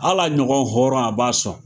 Hala ɲɔgɔn hɔrɔn a b'a sɔn.